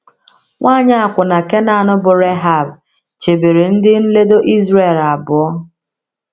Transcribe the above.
Nwanyị akwụna Kenan bụ́ Rehab chebere ndị nledo Izrel abụọ.